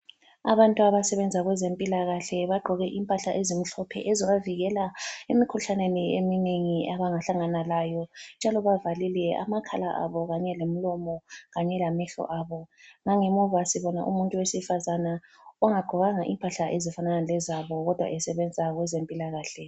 Abantu abasebenza kwezempilakahle bagqoke impahla ezimhlophe ezibavikela emikhuhlaneni eminengi abangahlangana layo njalo bavalile amakhala abo kanye lemilomo kanye lamehlo abo. Langemuva sibona umuntu wesifazane ongagqokanga impahla ezifanana lezabo kodwa esebenza kwezempilakahle.